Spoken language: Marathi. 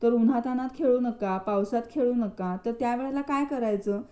तर उन्हातानात खेळू नका पावसात खेळू नका तर त्या वेळेला काय करायचं?